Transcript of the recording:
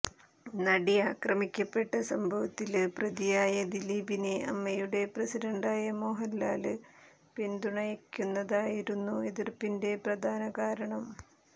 നടി ആക്രമിക്കപ്പെട്ട സംഭവത്തില് പ്രതിയായ ദിലീപിനെ അമ്മയുടെ പ്രസിഡന്റായ മോഹന്ലാല് പിന്തുണയ്ക്കുന്നതായിരുന്നു എതിര്പ്പിന്റെ പ്രധാന കാരണം